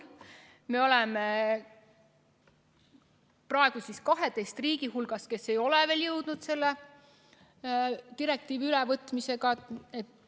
Me oleme praegu 12 riigi hulgas, kes ei ole veel jõudnud seda direktiivi üle võtta.